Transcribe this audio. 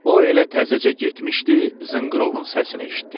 O elə təzəcə getmişdi, zınqırovun səsini eşitdi.